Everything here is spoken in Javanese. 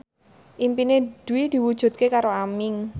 impine Dwi diwujudke karo Aming